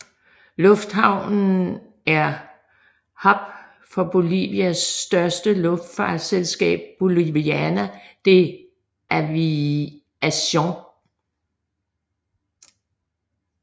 Lufthaven er hub for Bolivias største luftfartsselskab Boliviana de Aviación